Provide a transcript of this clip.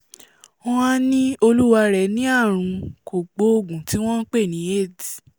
wọ́n á ní olúwarẹ̀ ní àrùn kògbóògù tí wọ́n npè ní aids